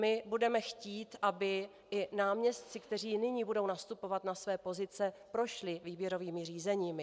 My budeme chtít, aby i náměstci, kteří nyní budou nastupovat na své pozice, prošli výběrovými řízeními.